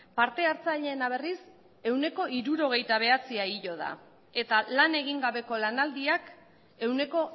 parte hartzaileena berriz ehuneko hirurogeita bederatzia igo da eta lan egin gabeko lanaldiak ehuneko